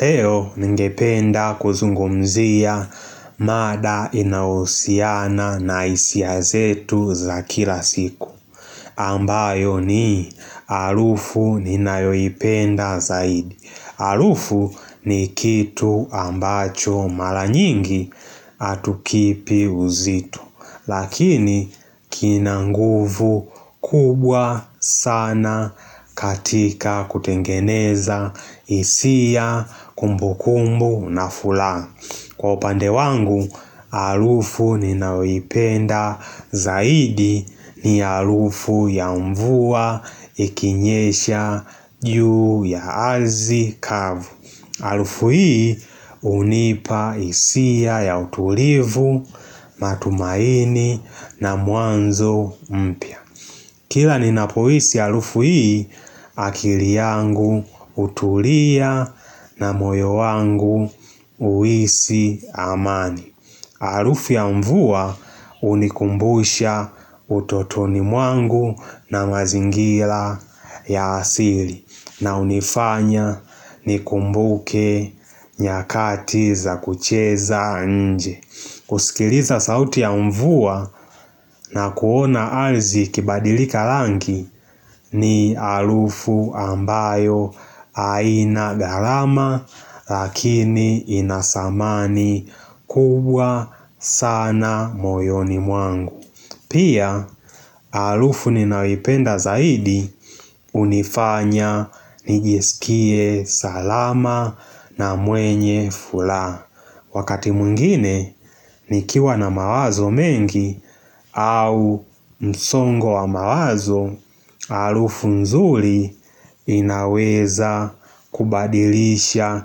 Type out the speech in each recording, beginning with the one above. Leo ningependa kuzungumzia mada inayousiana na hisia zetu za kila siku. Ambayo ni alufu ninayoipenda zaidi. Alufu ni kitu ambacho mala nyingi atukipi uzito. Lakini kina nguvu kubwa sana katika kutengeneza hisia kumbukumbu na fulaa Kwa upande wangu, alufu ninaoipenda zaidi ni alufu ya mvua ikinyesha juu ya arzi kavu Alufu hii hunipa hisia ya utulivu, matumaini na mwanzo mpya Kila ninapoisi alufu hii akili yangu utulia na moyo wangu uisi amani Alufu ya mvua unikumbusha utotoni mwangu na mazingila ya asili na unifanya nikumbuke nyakati za kucheza nje kusikiliza sauti ya mvua na kuona alzi ikibadilika langi ni alufu ambayo aina gharama lakini ina samani kubwa sana moyoni mwangu Pia alufu ninayoipenda zaidi unifanya nijiskie salama na mwenye fulaa Wakati mwengine nikiwa na mawazo mengi au msongo wa mawazo Alufu nzuli inaweza kubadilisha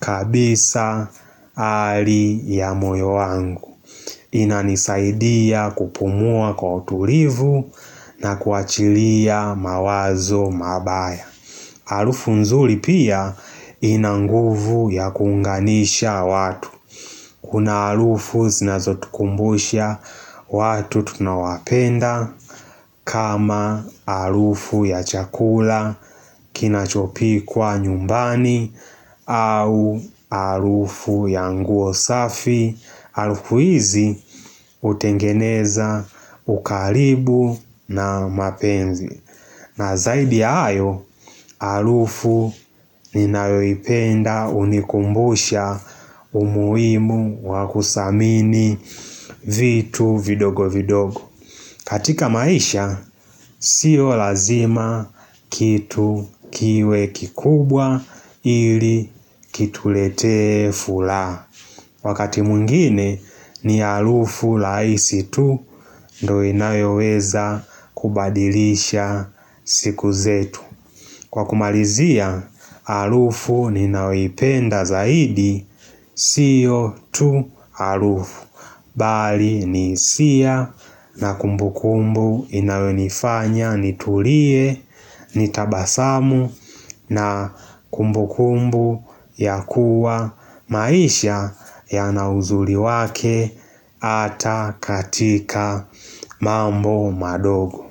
kabisa ali ya moyo wangu inanisaidia kupumua kwa utulivu na kuachilia mawazo mabaya Alufu nzuli pia ina nguvu ya kuunganisha watu Kuna alufu zinazotukumbusha watu tunaowapenda kama alufu ya chakula kinachopikwa nyumbani au alufu ya nguo safi Alufu izi utengeneza ukalibu na mapenzi na zaidi ya hayo, alufu ninayoipenda unikumbusha umuimu wakusamini vitu vidogo vidogo katika maisha, sio lazima kitu kiwe kikubwa ili kituletee fulaa Wakati mwengine ni alufu laisi tu ndo inayoweza kubadilisha siku zetu. Kwa kumalizia, alufu ninayoipenda zaidi sio tu alufu. Bali ni isia na kumbukumbu inayonifanya nitulie nitabasamu na kumbukumbu ya kuwa maisha yana uzuli wake ata katika mambo madogo.